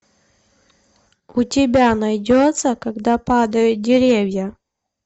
у тебя найдется когда падают деревья